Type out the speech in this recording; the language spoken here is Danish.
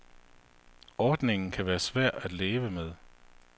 Ordningen kan være svær at leve med.